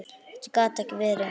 Þetta gat ekki verið.